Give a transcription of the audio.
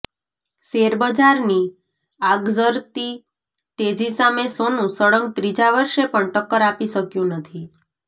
શેરબજારની આગઝરતી તેજી સામે સોનું સળંગ ત્રીજા વર્ષે પણ ટક્કર આપી શક્યું નથી